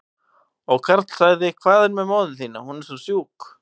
Og Karl sagði, hvað með móður þína, hún er svo sjúk?